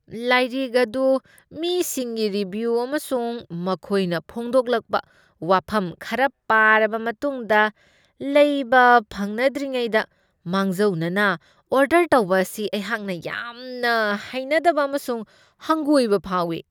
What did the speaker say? ꯂꯥꯏꯔꯤꯛ ꯑꯗꯨ ꯃꯤꯁꯤꯡꯒꯤ ꯔꯤꯕꯤꯌꯨ ꯑꯃꯁꯨꯡ ꯃꯈꯣꯏꯅ ꯐꯣꯛꯗꯣꯛꯂꯛꯄ ꯋꯥꯐꯝ ꯈꯔ ꯄꯥꯔꯕ ꯃꯇꯨꯡꯗ ꯂꯩꯕ ꯐꯪꯅꯗ꯭ꯔꯤꯉꯩꯗ ꯃꯥꯡꯖꯧꯅꯅ ꯑꯣꯔꯗꯔ ꯇꯧꯕ ꯑꯁꯤ ꯑꯩꯍꯥꯛꯅ ꯌꯥꯝꯅ ꯍꯩꯅꯗꯕ ꯑꯃꯁꯨꯡ ꯍꯪꯒꯣꯏꯕ ꯐꯥꯎꯢ ꯫